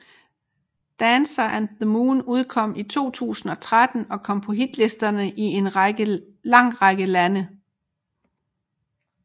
Dancer and the Moon udkom i 2013 og kom på hitlisterne i en lang række lande